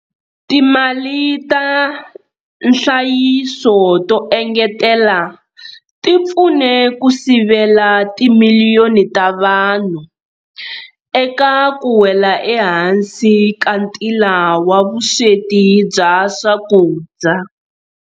Timali ta nhlayiso to engetela ti pfune ku sivela timiliyoni ta vanhu eka ku wela ehansi ka ntila wa vusweti bya swakudya.